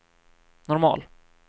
normal